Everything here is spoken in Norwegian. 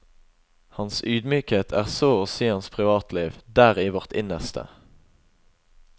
Hans ydmykhet er så å si hans privatliv, der i vårt innerste.